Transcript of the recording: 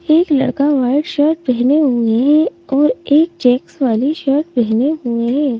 एक लड़का white shirt पहने हुए हैं और एक चेक्स वाली शर्ट पहने हुए हैं ।